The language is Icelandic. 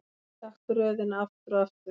Endurtaktu röðina aftur og aftur.